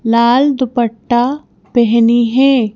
लाल दुपट्टा पहनी है।